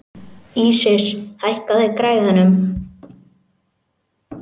Ísis, hækkaðu í græjunum.